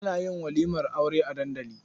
Ana yin walimar Aure a dandali.